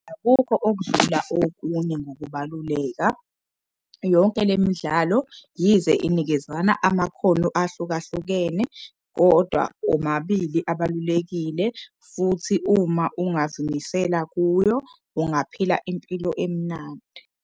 Akukho okudlula okunye ngokubaluleka yonke le midlalo yize inikezana amakhono ahlukahlukene. Kodwa omabili abalulekile futhi uma ungazimisela kuyo ungaphila impilo emnandi.